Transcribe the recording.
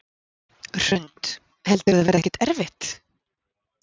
Hrund: Heldurðu að það verði ekkert erfitt?